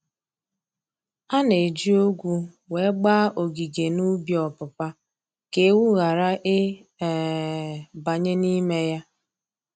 A na-eji ogwu wee gbaa ogige n'ubi ọpụpa ka ewu ghara ị um banye n'ime ya.